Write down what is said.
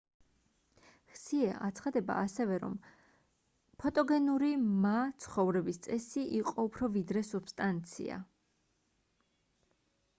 ჰსიე აცხადება ასევე რომ ფოტოგენური მა ცხოვრების წესი იყო უფრო ვიდრე სუბსტანცია